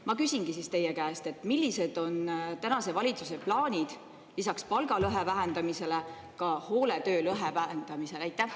Ma küsingi teie käest: millised on tänase valitsuse plaanid lisaks palgalõhe vähendamisele ka hooletöölõhe vähendamisel?